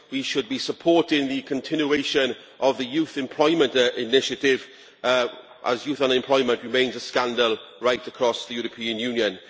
We should be supporting the continuation of the Youth Employment Initiative, as youth unemployment remains a scandal right across the European Union.